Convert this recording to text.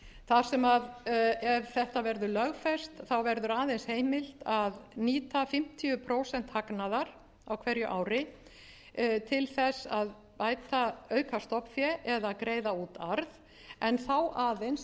þar sem ef þetta verður lögfest verður aðeins heimilt að nýta fimmtíu prósent hagnaðar á hverju ári til þess að auka stofnfé eða að greiða út arð en þá aðeins að hagnaður sé af rekstrinum hvers